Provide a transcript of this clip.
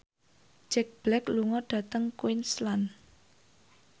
Jack Black lunga dhateng Queensland